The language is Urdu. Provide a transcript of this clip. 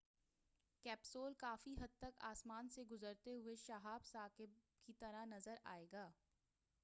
کیپسول کافی حد تک آسمان سے گزرتے ہوئے شَہاب ثاقِب کی طرح نظر آئےگا